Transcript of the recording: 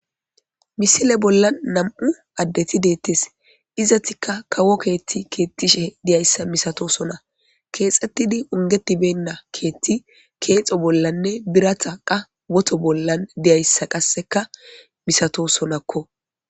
misile bolla nam7u addeti deettes izatikka kawo keethti keettishe diyayssa misatosona keexxettidi ungetibenna keetti keexo bollanne biratha qa woto bollan diyayssa qasseka misato sonakko